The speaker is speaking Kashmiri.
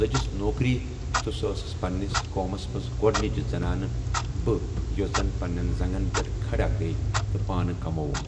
لٔجس نوکری تہٕ سُہ ٲسٕس پَنٕنِس قومَس منٛز گۄڈٕنِچ زَنانہٕ بہٕ یۄس زَن پَنٕنٮ۪ن زنٛگن پٮ۪ٹھ کھڑا گٔیے تہٕ پانہٕ کَمووُم۔